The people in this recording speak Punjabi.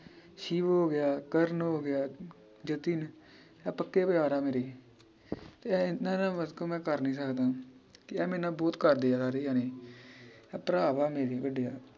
ਸ਼ਿਵ ਹੋਗਿਆ ਕਰਨ ਹੋਗਿਆ ਜਤਿਨ ਇਹ ਪੱਕੇ ਪਿਆਰ ਆ ਮੇਰੇ ਤੇ ਇਹਨਾਂ ਨਾਲ ਵਰਤੋ ਮੈ ਕਰ ਨੀ ਸਕਦਾ ਕਿ ਏ ਮੇਰਨਾ ਬਹੁਤ ਕਰਦੇ ਆ ਸਾਰੇ ਜਾਣੇ ਏ ਭਰਾ ਵਾ ਮੇਰੇ ਵੱਡੇ ਆ